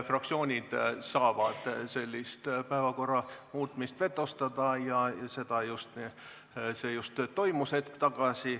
Fraktsioonid saavad sellist päevakorra muutmist vetostada ja hetk tagasi see just toimus.